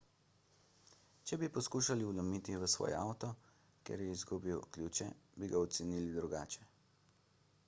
če bi poskušal vlomiti v svoj avto ker je izgubil ključe bi ga ocenili drugače